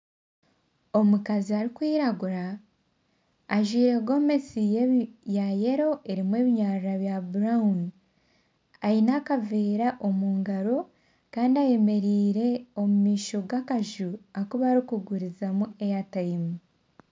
Omukazi arikwiragura ajwaire Gomesi ya yelo erimu ebinyara bya burawuni aine akaveera omu ngaaro Kandi ayemereire omu maisho gakaju aku barikugurizamu eyatayimu